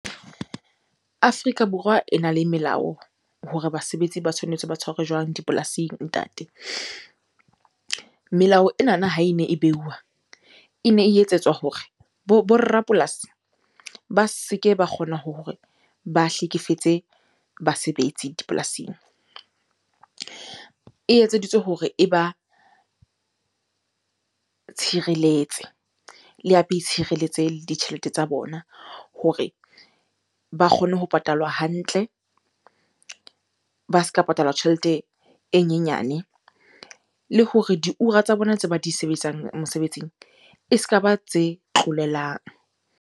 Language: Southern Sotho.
Afrika Borwa ena le melao hore basebetsi ba tshwanetse ba tshwarwe jwang dipolasing ntate. Melao enana ha ene e beuwa, ene e etsetswa hore bo rapolasi ba se ke ba kgona hore ba hlekefetse basebetsi dipolasing. E etseditswe hore e ba tshireletse, le hape e tshireletse le ditjhelete tsa bona hore ba kgone ho patalwa hantle, ba se ka patalwa tjhelete e nyenyane. Le hore diura tsa bona tse ba di sebetsang mosebetsing, e ska ba tse tlolelang.